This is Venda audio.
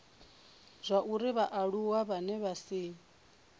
zwauri vhaaluwa vhane vha si